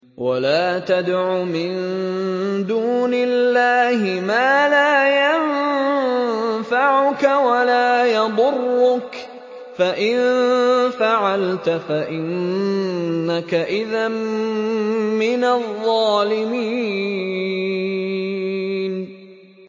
وَلَا تَدْعُ مِن دُونِ اللَّهِ مَا لَا يَنفَعُكَ وَلَا يَضُرُّكَ ۖ فَإِن فَعَلْتَ فَإِنَّكَ إِذًا مِّنَ الظَّالِمِينَ